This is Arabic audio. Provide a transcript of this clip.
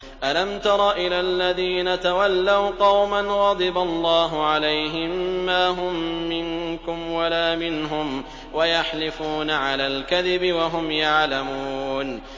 ۞ أَلَمْ تَرَ إِلَى الَّذِينَ تَوَلَّوْا قَوْمًا غَضِبَ اللَّهُ عَلَيْهِم مَّا هُم مِّنكُمْ وَلَا مِنْهُمْ وَيَحْلِفُونَ عَلَى الْكَذِبِ وَهُمْ يَعْلَمُونَ